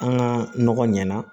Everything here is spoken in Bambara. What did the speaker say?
An ka nɔgɔ ɲɛna